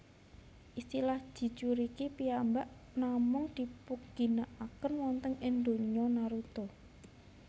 Istilah Jinchuuriki piyambak namung dipunginaken wonten ing donya Naruto